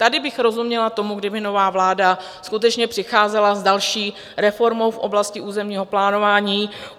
Tady bych rozuměla tomu, kdyby nová vláda skutečně přicházela s další reformou v oblasti územního plánování.